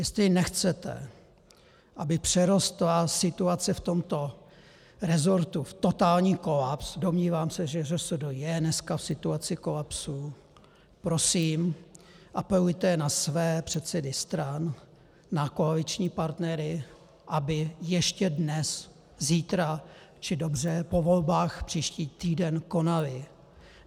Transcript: Jestli nechcete, aby přerostla situace v tomto rezortu v totální kolaps, domnívám se, že ŘSD je dneska v situaci kolapsu, prosím, apelujte na své předsedy stran, na koaliční partnery, aby ještě dnes, zítra, či dobře, po volbách příští týden konali.